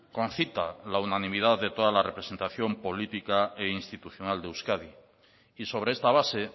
concita la unanimidad de toda la representación política e institucional de euskadi y sobre esta base